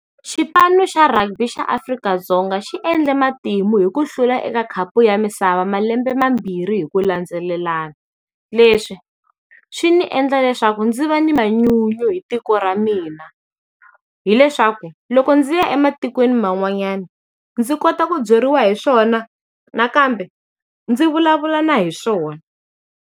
Xipano xa rugby xa Afrika-Dzonga xi endle matimu hi ku hlula eka khapu ya misava malembe mambirhi hi ku landzelelana. Leswi swi ni endla leswaku ndzi va ni manyunyu hi tiko ra mina. Hi leswaku, loko ndzi ya ematikweni man'wanyana ndzi kota ku byeriwa hi swona, nakambe, ndzi vulavula na hi swona.